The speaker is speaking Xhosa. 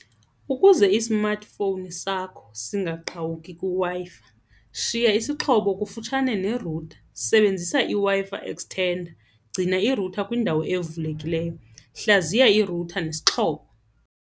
Ukuze i-smartphone sakho singaqhawuki kwiWi-Fi, shiya isixhobo kufutshane nerutha, sebenzisa iW-Fi extender, gcina irutha kwindawo evulekileyo, hlaziya irutha nesixhobo.